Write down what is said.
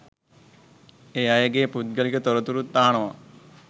ඒ අයගේ පුද්ගලික තොරතුරුත් අහනවා.